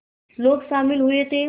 लोग शामिल हुए थे